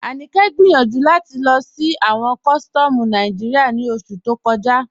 Aníkẹ gbẹ́yànju láti lọ sí awọn kọ̀sítọ̀mù Nàìjíríà ní oṣù tó kọ̀jà.